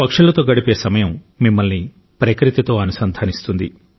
పక్షులతో గడిపే సమయం మిమ్మల్ని ప్రకృతితో అనుసంధానిస్తుంది